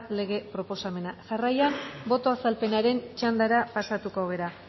lege proposamena jarraian boto azalpenaren txandara pasatuko gara